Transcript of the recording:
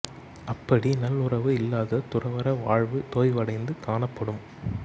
அப்படி நல் உறவு இல்லாத துறவற வாழ்வு தொய்வடைந்து காணப்படும்